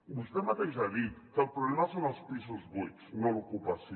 vostè mateix ha dit que el problema són els pisos buits no l’ocupació